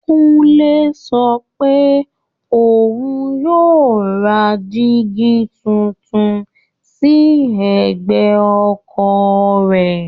Kúnlé sọ pé òun yóò ra dígí tuntun sí ẹ̀gbẹ́ ọkọ̀ rẹ̀